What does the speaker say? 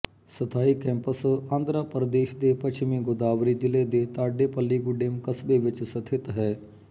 ਸਥਾਈ ਕੈਂਪਸ ਆਂਧਰਾ ਪ੍ਰਦੇਸ਼ ਦੇ ਪੱਛਮੀ ਗੋਦਾਵਰੀ ਜ਼ਿਲ੍ਹੇ ਦੇ ਤਾਡੇਪੱਲੀਗੁਡੇਮ ਕਸਬੇ ਵਿੱਚ ਸਥਿਤ ਹੈ